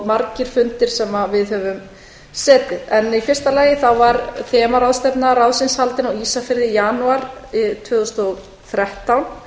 margir fundir sem við höfum setið í fyrsta lagi var þemaráðstefna ráðsins haldin á ísafirði í janúar tvö þúsund og þrettán